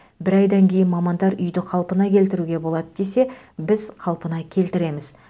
бір айдан кейін мамандар үйді қалпына келтіруге болады десе біз қалпына келтіреміз